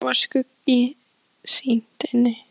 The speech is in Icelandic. Þrátt fyrir það var skuggsýnt inni.